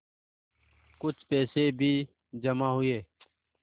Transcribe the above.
कुछ पैसे भी जमा हुए